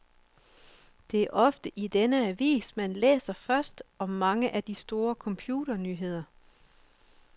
Det er ofte i denne avis, man læser først om mange af de store computernyheder.